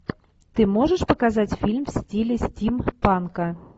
ты можешь показать фильм в стиле стимпанка